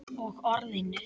Og Orðinu.